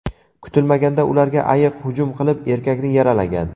Kutilmaganda ularga ayiq hujum qilib, erkakni yaralagan.